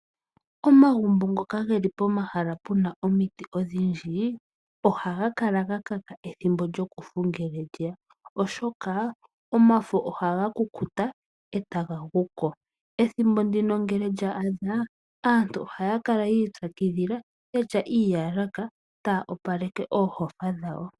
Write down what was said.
Omagumbo ngoka geli pomahala puna omiti odhindji ohaga kala gakaka ethimbo lyokufu ngele lyeya, oshoka omafo ohaga kukuta etaga guko. Ethimbo ndino ngele lya adha aantu ohaya kala yiipyakidhila yatya iiyalataya opaleke oohofa dhawo.